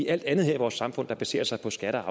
alt andet her i vores samfund der baserer sig på skatter